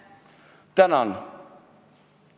Tänan!